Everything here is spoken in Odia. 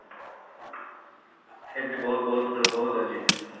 ସେମିତି ବହୁତ ବହୁତ ବହୁତ ଅଛି ସେମିତି